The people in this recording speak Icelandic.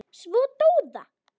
Svo dó það.